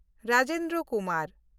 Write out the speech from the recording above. Rajendra Kumar